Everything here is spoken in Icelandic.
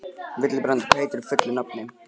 Vilbrandur, hvað heitir þú fullu nafni?